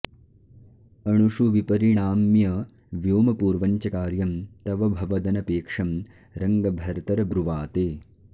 अणुषु विपरिणाम्य व्योमपूर्वं च कार्यं तव भवदनपेक्षं रङ्गभर्तर्ब्रुवाते